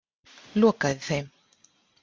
Lokaði þeim.